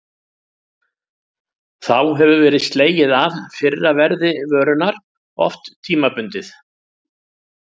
Þá hefur verið slegið af fyrra verði vörunnar, oft tímabundið.